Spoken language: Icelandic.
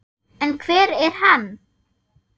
En hver er hann?